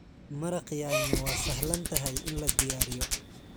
Maraq yaanyo waa sahlan tahay in la diyaariyo.